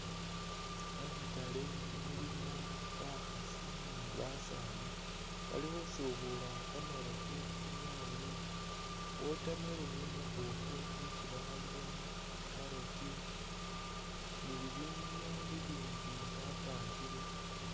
Mukhatale mulimo bakhasi ni' basani, bali khusubula kamarofu tsinyaanye, watermelon umubofu nisi bakhalilemo, carrot ni bibinu bibindi bapangile